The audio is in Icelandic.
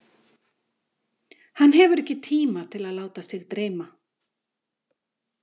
Hann hefur ekki tíma til að láta sig dreyma.